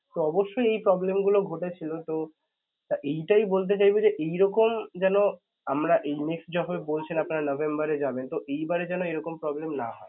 তো অবশ্যই এই problem গুলো ঘটেছিল তো এইটাই বলতে চাইবো যে এইরকম যেন আমরা এই next যখন বলছেন আপনারা November এ যাবেন তো এইবারে যেন এইরকম problem না হয়.